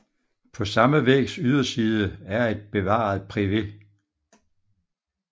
På samme vægs yderside er et bevaret privet